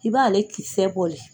I ba ale kisɛ bɔ le.